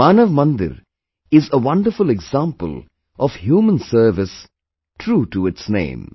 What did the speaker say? Manav Mandir is a wonderful example of human service true to its name